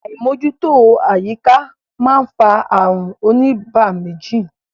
Àímójútó àyíká máa fa ààrùn onígbáméjì.